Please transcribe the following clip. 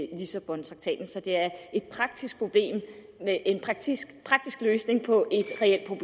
lissabontraktaten så det er en praktisk løsning på